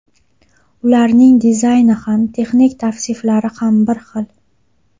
Ularning dizayni ham, texnik tavsiflari ham bir xil.